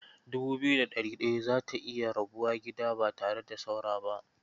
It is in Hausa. Dubu biyu da ɗari ɗaya za ta iya rabuwa gida ba tare da saura ba.